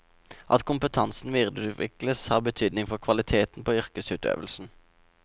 At kompetansen videreutvikles, har betydning for kvaliteten på yrkesutøvelsen.